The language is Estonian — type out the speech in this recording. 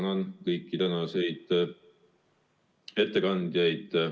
Ma tänan kõiki tänaseid ettekandjaid.